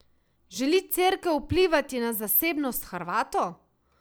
Želi Cerkev vplivati na zasebnost Hrvatov?